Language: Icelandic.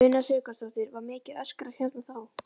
Una Sighvatsdóttir: Var mikið öskrað hérna þá?